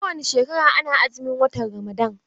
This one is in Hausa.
Kowani shekara ana azumin watan Ramadan.